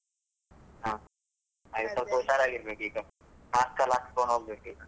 ಹಾ ಹಾಗೆ ಸ್ವಲ್ಪ ಹುಷಾರಾಗಿರ್ಬೇಕು ಈಗ, mask ಎಲ್ಲ ಹಾಕೊಂಡ್ ಹೋಗ್ಬೇಕು ಈಗ.